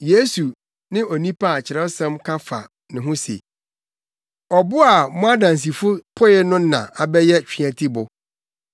Yesu ne onipa a Kyerɛwsɛm ka fa ne ho se, “ ‘Ɔbo a mo adansifo poe no na abɛyɛ tweatibo.’